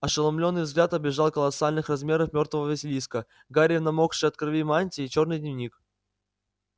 ошеломлённый взгляд обежал колоссальных размеров мёртвого василиска гарри в намокшей от крови мантии чёрный дневник